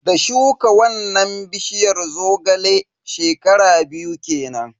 Da shuka wannan bishiyar Zogale, shekara biyu kenan.